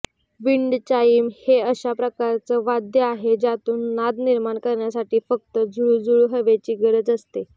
wind chime हे अशा प्रकारचं वाद्य आहे ज्यातून नाद निर्माण करण्यासाठी फक्त झुळझुळ हवेची गरज असते